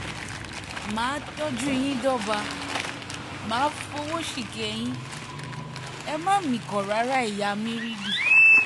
má a tọ́jú yín dọ́ba má a fọwọ́ síkẹ̀ yín ẹ má mikàn rárá ìyá mírílì